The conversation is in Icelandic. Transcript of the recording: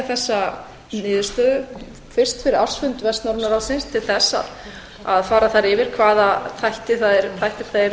þessa niðurstöðu fyrst fyrir ársfund vestnorræna ráðsins til þess að fara þar yfir hvaða þættir það eru